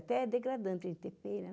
Até é degradante a gente ter pena.